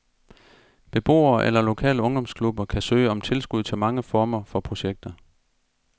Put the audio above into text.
Beboere eller lokale ungdomsklubber kan søge om tilskud til mange former for projekter.